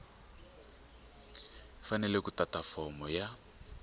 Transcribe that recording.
fanele ku tata fomo ya